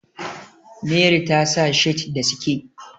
Meri ta sa shirt da sike